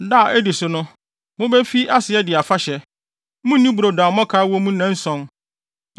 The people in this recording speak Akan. Da a edi so no, mubefi ase adi afahyɛ; munnni brodo a mmɔkaw wɔ mu nnanson.